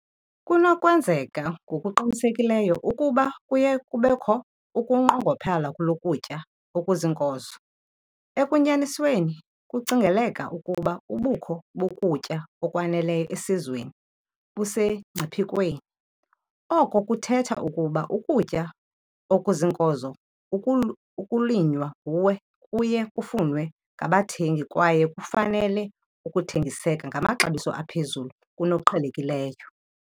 Kunokwenzeka ngokuqinisekileyo ukuba kuye kubekho ukunqongophalo lokutya okuziinkozo, ekunyanisweni kucingeleka ukuba ubukho bokutya okwaneleyo esizweni busemngciphekweni. Oko kuthetha ukuba ukutya okuziinkozo ukulinywa nguwe kuye kufunwe ngabathengi kwaye kufanele ukuthengiseka ngamaxabiso aphezulu kunoqhelekileyo.